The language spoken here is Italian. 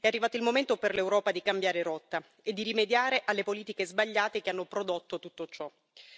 È arrivato il momento per l'Europa di cambiare rotta e di rimediare alle politiche sbagliate che hanno prodotto tutto ciò.